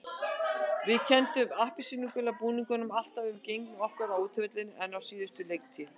Við kennum appelsínugula búningnum alltaf um gengi okkar á útivelli á síðustu leiktíð.